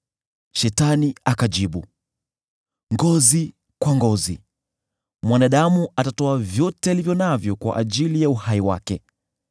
Shetani akamjibu Bwana , “Ngozi kwa ngozi! Mwanadamu atatoa vyote alivyo navyo kwa ajili ya uhai wake.